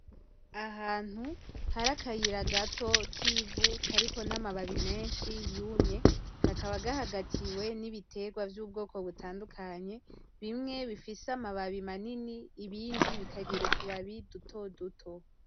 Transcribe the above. Ahantu har' akayira gato kivu kariko n'amababi menshi yumye kakaba gahagatiwe n'ibitegwa vy'ubwoko butandukanye bimwe bifise amababi manini ibindi bikagira utubabi dutoduto.